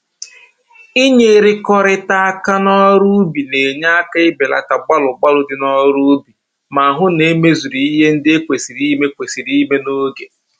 Inyerikọrịta aka n'ọrụ ubi na-enye aka ibelata gbalụ gbalụ dị n'ọrụ ubi ma hụ na e mezuru ihe ndị e kwesịrị ime kwesịrị ime n'oge